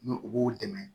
Ni u b'u dɛmɛ